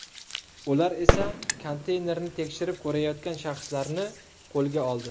Ular esa konteynerni tekshirib ko‘rayotgan shaxslarni qo‘lga oldi.